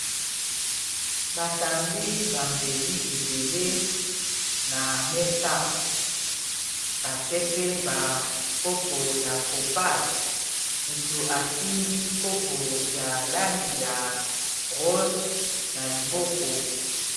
batandi bambeli ebele na mesa batie pe bankopo ya kopal motu asimbi kopo ya langi ya rose na liboko